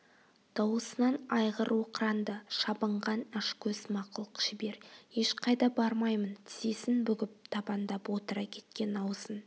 дауысынан айғыр оқыранды шабынған ашкөз мақұлық жібер ешқайда бармаймын тізесін бүгіп табандап отыра кеткен аузын